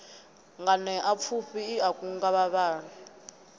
nganeapfufhi i a kunga vhavhali